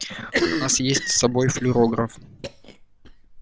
у нас есть с собой флюрограф